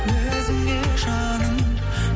өзіңе жаным